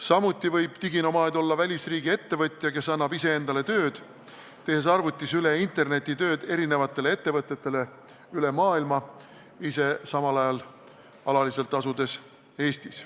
Samuti võib diginomaad olla välisriigi ettevõtja, kes annab ise endale tööd, tehes arvutis interneti vahendusel tööd eri ettevõtetele üle maailma, ise samal ajal alaliselt Eestis asudes.